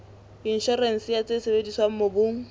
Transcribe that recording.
inshorense ya tse sebediswang mobung